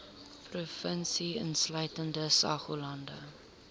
provinsie insluitende saoglande